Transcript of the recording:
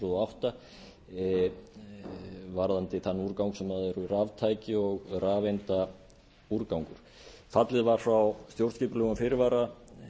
og átta e b varðandi þann úrgang sem eru raftæki og rafeindaúrgangur fallið var frá stjórnskipulegum fyrirvara